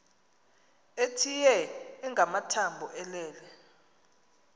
ethitye engamathambo elele